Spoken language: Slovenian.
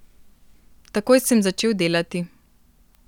Takoj sem začel delati.